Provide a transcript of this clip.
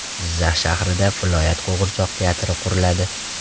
Jizzax shahrida viloyat qo‘g‘irchoq teatri quriladi.